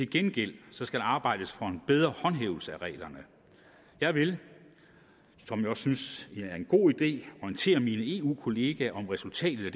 gengæld skal der arbejdes for en bedre håndhævelse af reglerne jeg vil som jeg synes er en god idé orientere mine eu kolleger om resultatet af